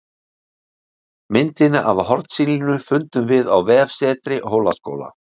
Myndina af hornsílinu fundum við á vefsetri Hólaskóla